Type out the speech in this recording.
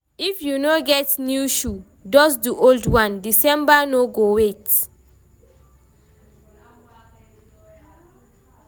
If you no get new shoe, dust the old one, December no go wait!